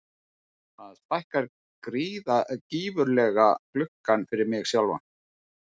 Þetta stækkar gífurlega gluggann fyrir mig sjálfan.